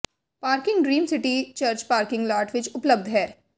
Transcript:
parking dream city church parking lot ਵਿੱਚ ਉਪਲਬਧ ਹੈ